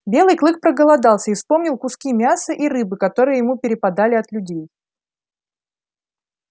белый клык проголодался и вспомнил куски мяса и рыбы которые ему перепадали от людей